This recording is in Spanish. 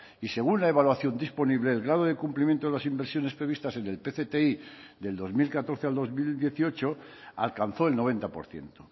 y según la evaluación disponible el grado de cumplimiento de las inversiones previstas en el pcti del dos mil catorce al dos mil dieciocho alcanzó el noventa por ciento